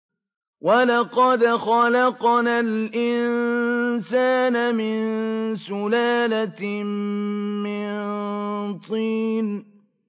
وَلَقَدْ خَلَقْنَا الْإِنسَانَ مِن سُلَالَةٍ مِّن طِينٍ